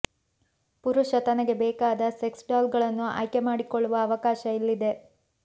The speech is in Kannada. ಪುರುಷ ತನಗೆ ಬೇಕಾದ ಸೆಕ್ಸ್ ಡಾಲ್ ಗಳನ್ನು ಆಯ್ಕೆ ಮಾಡಿಕೊಳ್ಳುವ ಅವಕಾಶ ಇಲ್ಲಿದೆ